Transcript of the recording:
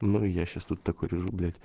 ну я сейчас тут такой лежу блять